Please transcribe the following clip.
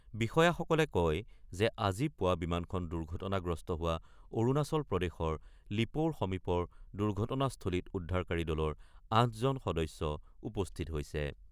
বিষয়াসকলে কয় যে আজি পুৱা বিমানখন দুৰ্ঘটনাগ্ৰস্ত হোৱা অৰুণাচল প্ৰদেশৰ লিপ'ৰ সমীপৰ দুৰ্ঘটনাস্থলীত উদ্ধাৰকাৰী দলৰ ৮ জন সদস্য উপস্থিত হৈছে।